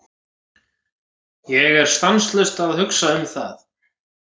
Ég er stanslaust að hugsa um það.